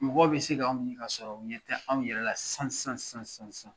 Mɔgɔ bɛ se ka anw ye kasɔrɔ u ɲɛ tɛ anw yɛrɛ la sisan sisan sisan